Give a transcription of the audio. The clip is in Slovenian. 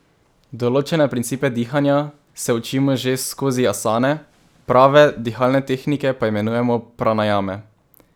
Določene principe dihanja se učimo že skozi asane, prave dihalne tehnike pa imenujemo pranajame.